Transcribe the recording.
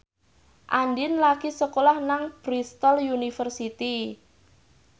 Andien lagi sekolah nang Bristol university